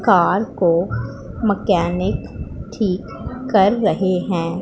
Car को mechanic ठीक कर रहे हैं।